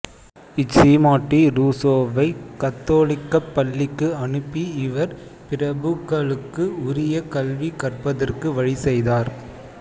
இச் சீமாட்டி ரூசோவைக் கத்தோலிக்கப் பள்ளிக்கு அனுப்பி இவர் பிரபுக்களுக்கு உரிய கல்வி கற்பதற்கு வழி செய்தார்